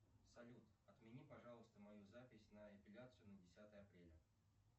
салют отмени пожалуйста мою запись на эпиляцию на десятое апреля